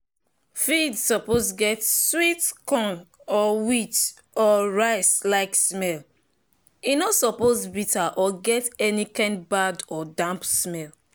feed suppose get sweet corn or wheat or rice -like smell—e no suppose bitter or get any kind bad or damp smell